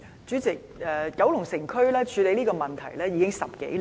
主席，九龍城區處理這個問題已10多年。